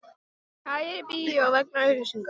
Kærir bíó vegna auglýsinga